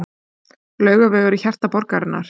Laugavegur í hjarta borgarinnar.